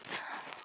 Hér er dimmt.